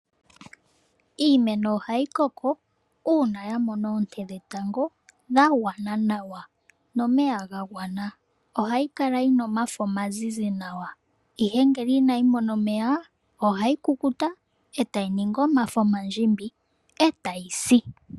Iimeno ohayi koko uuna yamona oonte dhetango dhagwana nawa nomeya gagwana . Ohayi kala yina omafo omazizi nawa ihe ngele inayi mo a omeya ohayi ohayi kukuta etayi ningi omafo oandjimbi etayi si.